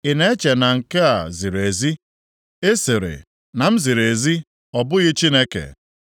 “Ị na-eche na nke a ziri ezi? Ị sịrị, ‘Na m ziri ezi ọ bụghị Chineke.’